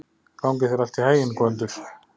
Gangi þér allt í haginn, Gvöndur.